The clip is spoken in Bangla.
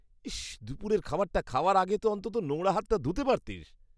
ইস! দুপুরের খাবারটা খাওয়ার আগে তো অন্তত নোংরা হাতটা ধুতে পারতিস।।